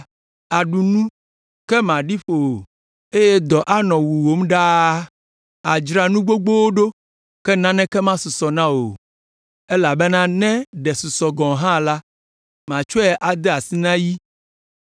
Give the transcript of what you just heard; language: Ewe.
Àɖu nu, ke màɖi ƒo o, eye dɔ anɔ wuwòm ɖaa. Àdzra nu gbogbowo ɖo, ke naneke masusɔ na wò o, elabena ne ɖe susɔ gɔ̃ hã la, matsɔe ade asi na yi.